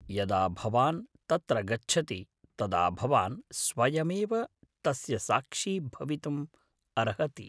यदा भवान् तत्र गच्छति तदा भवान् स्वयमेव तस्य साक्षी भवितुम् अर्हति।